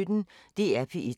DR P1